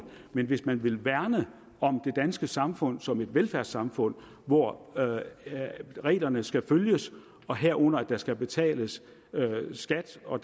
men hvis man vil værne om det danske samfund som et velfærdssamfund hvor reglerne skal følges herunder at der skal betales skat og